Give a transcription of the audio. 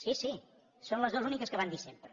sí sí són les dues úniques que van dir sempre